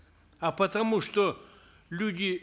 а потому что люди